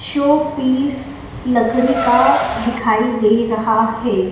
Showpiece लकड़ी का दिखाई दे रहा है।